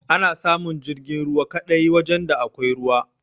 Ana samun jirgin ruwa kaɗai wajan da akwai ruwa